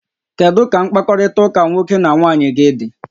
Kedu ka mkpakọrịta nwoke na nwaanyị gị dị?